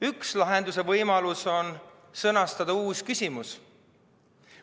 Üks lahenduse võimalusi on sõnastada uus küsimus.